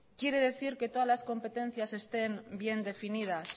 quiere decir que todas las competencias estén bien definidas